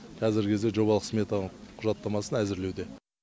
қазіргі кезде жобалық сметаның құжаттамасын әзірлеуде